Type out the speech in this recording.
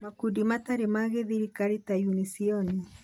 Makundi matarĩ ma gĩthirikari ta Unision